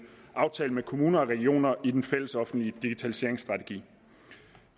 aftalt med kommuner og regioner i den fællesoffentlige digitaliseringsstrategi